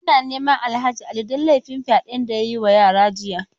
Ana neman Alhaji Ali don laifin fyade da ya yi wa yara jiya.